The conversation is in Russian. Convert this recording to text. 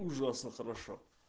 ужасно хорошо